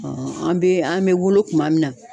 an bɛ an bɛ wolo kuma min na.